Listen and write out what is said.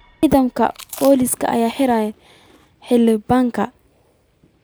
Ciidamada Booliska ayaa xiray Xildhibaanka.